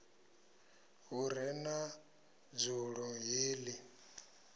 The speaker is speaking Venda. hu re na dzulo heḽi